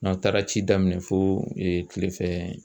N'aw taara ci daminɛ fo kile fɛ